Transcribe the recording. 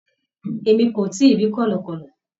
Emi ko tii ri kọlọkọlọ